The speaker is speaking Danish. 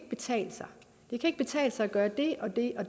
betale sig det kan ikke betale sig at gøre det og det og